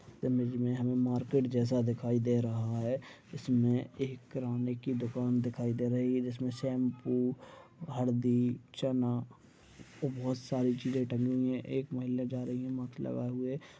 Image मे हमें market जैसा दिखाई दे रहा है इसमें एक किराणे की दुकान दिखाई दे रही है जिसमें शैंपू हरदी चना और बहुत सारी चीज टंगी हुई है एक महिला जा रही है मास्क लगाए हुए-- ।